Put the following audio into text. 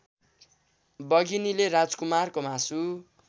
बघिनीले राजकुमारको मासु